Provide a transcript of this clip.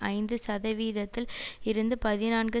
ஐந்து சதவீதத்தில் இருந்து பதினான்கு